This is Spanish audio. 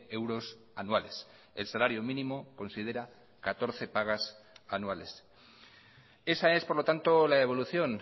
euros anuales el salario mínimo considera catorce pagas anuales esa es por lo tanto la evolución